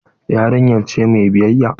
Eh yarinya ce mai biyayya.